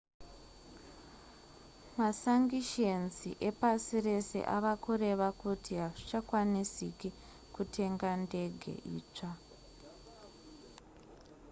masangishenzi epasi rese ava kureva kuti hazvichakwanisiki kutenga ndege itsva